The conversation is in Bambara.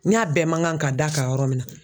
N y'a bɛɛ man kan ka d'a kan yɔrɔ min na